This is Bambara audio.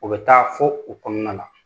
U bɛ taa fo u kɔnɔna na.